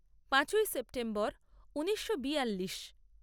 পাঁচই সেপ্টেম্বর ঊনিশো বিয়াল্লিশ